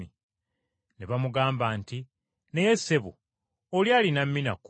“Ne bamugamba nti, ‘Naye ssebo, oli alina mina kkumi!’